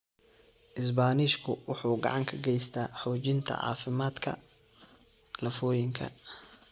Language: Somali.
Isbaanishku wuxuu gacan ka geystaa xoojinta caafimaadka lafooyinka.